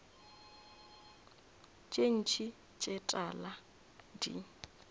tše ntši tše tala di